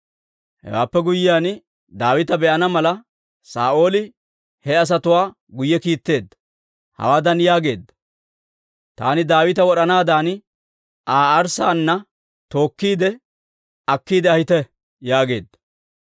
Hewaappe guyyiyaan, Daawita be'ana mala, Saa'ooli he asatuwaa guyye kiittiide, hawaadan yaageedda; «Taani Daawita wod'anaadan Aa arssaana tookkiide akkiide ahite» yaageedda.